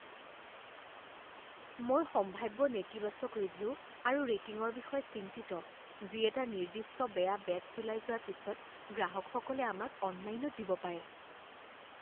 মই সম্ভাৱ্য নেতিবাচক ৰিভিউ আৰু ৰেটিংৰ বিষয়ে চিন্তিত যি এটা নিৰ্দিষ্ট বেয়া বেটছ ওলাই যোৱাৰ পিছত গ্ৰাহকসকলে আমাক অনলাইনত দিব পাৰে।